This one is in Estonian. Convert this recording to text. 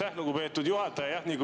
Aitäh, lugupeetud juhataja!